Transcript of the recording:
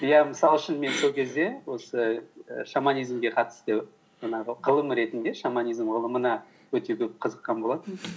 иә мысалы үшін мен сол кезде осы і шаманизмге жаңағы ғылым ретінде шаманизм ғылымына өте көп қызыққан болатынмын